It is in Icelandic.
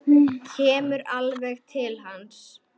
Kemur alveg til hans.